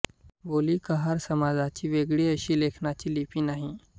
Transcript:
बोली कहार समाजाची वेगळी अशी लेखनाची लिपी नाही